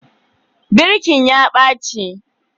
Birkin ya ɓaci